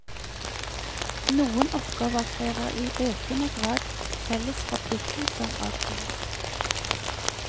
Noen oppgaver krever i økende grad felles forpliktelser av alle.